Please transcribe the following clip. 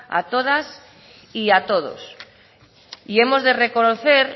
a todas y a todos y hemos de reconocer